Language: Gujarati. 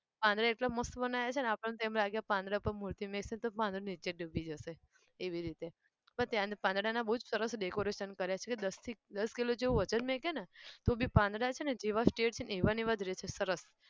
પાંદડા એટલા મસ્ત બનાવ્યાં છે ને આપણને તો એમ લાગે કે પાંદડા પર મૂર્તિ મુકશે તો પાંદડુ નીચે ડૂબી જશે એવી રીતે. પણ ત્યાં પાંદડાના બહુ સરસ decoration કર્યા છે દસથી દસ કિલો જેવું વજન મૂકેને તો બી પાંદડા છે ને જેવા straight એવાને એવા રેશે સરસ